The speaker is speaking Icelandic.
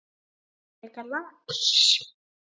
Þú ert frekar lax.